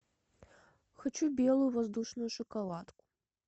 хочу белую воздушную шоколадку